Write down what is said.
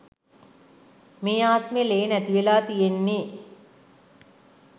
මේ ආත්මෙ ලේ නැතිවෙලා තියෙන්නෙ.